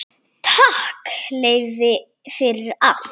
Takk, Leifi, fyrir allt.